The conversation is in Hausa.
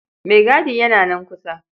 Maigadi yana nan kusa.